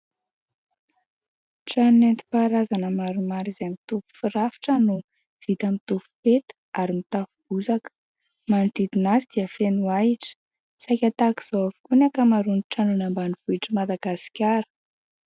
Trano nentim-paharazana maromaro izay mitovy firafitra no vita amin'ny rotsy peta ary mitafo bozaka. Manodidina azy dia feno ahitra, saika tahaka izao avokoa ny ankamaroan'ny trano any ambanivohitr'i Madagasikara.